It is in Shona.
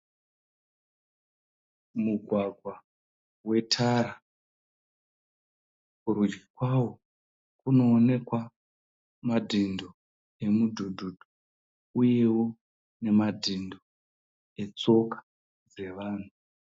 Mugwagwa wetara, kurudyi kwawo kunoonekwa madhindo emudhudhu uyewo nemadhindo etsoka dzevanhu.